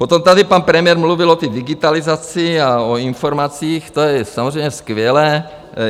Potom tady pan premiér mluvil o digitalizaci a o informacích, to je samozřejmě skvělé.